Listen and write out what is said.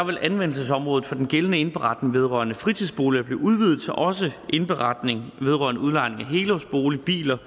vil anvendelsesområdet for den gældende indberetning vedrørende fritidsboliger blive udvidet til at også indberetning vedrørende udlejning af helårsboliger biler